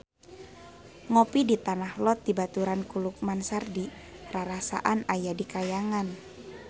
Ngopi di Tanah Lot dibaturan ku Lukman Sardi rarasaan aya di kahyangan